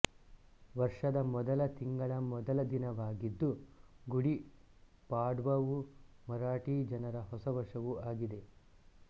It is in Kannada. ವರ್ಷದ ಮೊದಲ ತಿಂಗಳ ಮೊದಲ ದಿನವಾಗಿದ್ದು ಗುಡಿ ಪಾಡ್ವವು ಮರಾಠಿ ಜನರ ಹೊಸವರ್ಷವೂ ಆಗಿದೆ